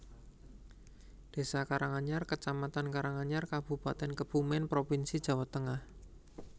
Désa Karanganyar kecamatan Karanganyar Kabupatèn Kebumèn provinsi Jawa Tengah